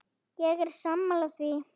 Ég er sammála því.